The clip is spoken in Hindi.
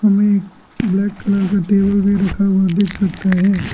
हमे ब्लैक कलर का टेबल भी रखा हुआ देख सकता है।